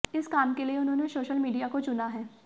इस काम के लिए उन्होंने सोशल मीडिया को चुना है